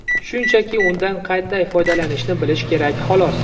Shunchaki undan qanday foydalanishni bilish kerak, xolos.